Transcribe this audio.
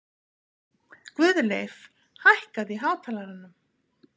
Guðleif, hækkaðu í hátalaranum.